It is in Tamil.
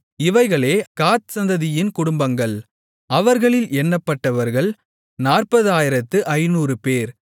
இவைகளே காத் சந்ததியின் குடும்பங்கள் அவர்களில் எண்ணப்பட்டவர்கள் 40500 பேர்